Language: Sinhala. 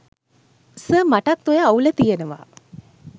සර් මටත් ඔය අවුල තියනව